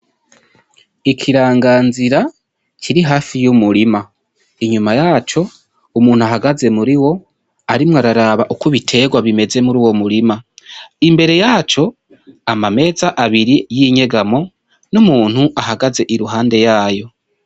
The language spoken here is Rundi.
Ikiranganzira kiri hafi y'umurima inyuma yaco harumuntu ahagaze muriwo arimwo araraba uko bihagaze muruwo murima, imbere yaco amameza abiri y'inyegamo n'umuntu ahagaze imbere yayo.